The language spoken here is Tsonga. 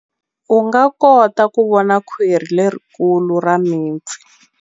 U nga kota ku vona khwiri lerikulu ra mipfi.